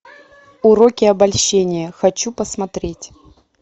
уроки обольщения хочу посмотреть